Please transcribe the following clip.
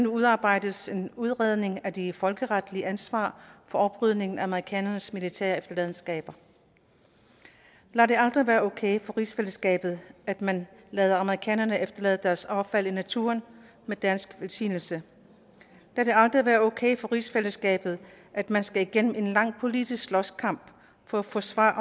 udarbejdes en udredning af det folkeretlige ansvar for oprydningen af amerikanernes militære efterladenskaber lad det aldrig være okay for rigsfællesskabet at man lader amerikanerne efterlade deres affald i naturen med dansk velsignelse lad det aldrig være okay for rigsfællesskabet at man skal igennem en lang politisk slåskamp for at få svar